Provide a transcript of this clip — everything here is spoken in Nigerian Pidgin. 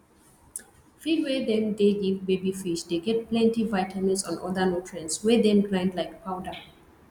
feed wey them dey give baby fish dey get plenty vitamins and other nutrients wey them grind like powder